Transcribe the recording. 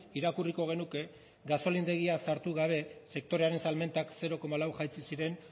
irakurriko genuke gasolindegia sartu gabe sektorearen salmentak zero koma lau jaitsi ziren